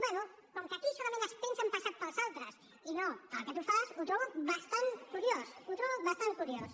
bé com que aquí solament es pensa en passat pels altres i no pel que tu fas ho trobo bastant curiós ho trobo bastant curiós